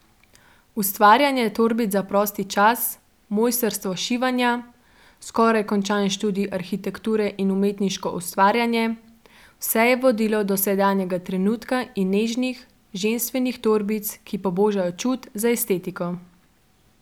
Ustvarjanje torbic za prosti čas, mojstrstvo šivanja, skoraj končan študij arhitekture in umetniško ustvarjanje, vse je vodilo do sedanjega trenutka in nežnih, ženstvenih torbic, ki pobožajo čut za estetiko.